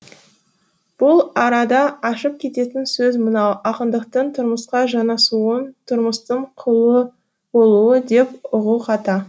бұл арада ашып кететін сөз мынау ақындықтың тұрмысқа жанасуын тұрмыстың құлы болуы деп ұғу қата